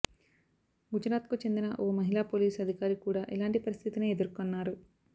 గుజరాత్కు చెందిన ఓ మహిళా పోలీసు అధికారి కూడా ఇలాంటి పరిస్థితినే ఎదుర్కొన్నారు